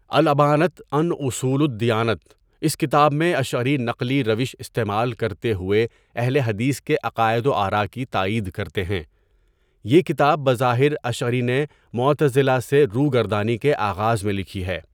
الابانۃ عن اصول الدیانۃ اس کتاب میں اشعری نقلی روش استعمال کرتے ہوئے اہل حدیث کے عقائد و آراء کی تائید کرتے ہیں، یہ کتاب بظاہر اشعری نے معتزلہ سے روگردانی کے آغاز میں لکھی ہے.